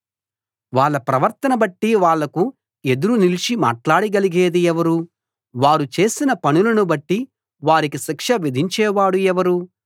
వాళ్ళ ప్రవర్తన బట్టి వాళ్ళకు ఎదురు నిలిచి మాట్లాడగలిగేది ఎవరు వారు చేసిన పనులను బట్టి వారికి శిక్ష విధించేవాడు ఎవరు